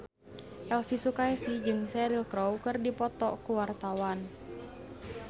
Elvi Sukaesih jeung Cheryl Crow keur dipoto ku wartawan